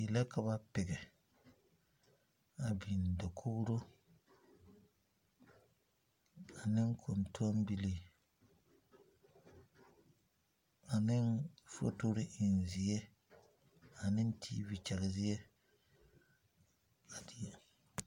Die la ka pɛge a biŋ dakoro ane kɔntombilii aneŋ fotori eŋ zie ane tiivi gyɛge zie a Die poɔ.